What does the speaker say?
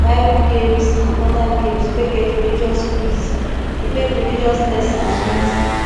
bible games and oda games wey get religious quiz fit make religious lesson sweet